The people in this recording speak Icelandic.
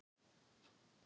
Hey þið öll.